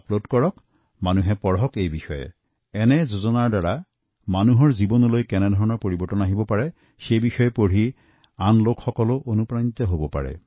সাধাৰণ মানুহে পঢ়িব পাৰিব কোনটো যোজনাই কিমান মানুহৰ জীৱনত কিমান পৰিৱৰ্তন আনিছে তাৰ পৰিসংখ্যা লাভ কৰি তেওঁলোকো অনুপ্ৰাণিত হব